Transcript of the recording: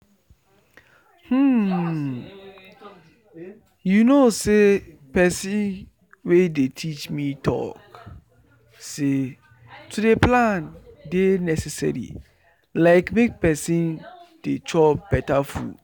hmm you know say person wey dey teach me talk say to dey plan dey necessary like make person dey chop beta food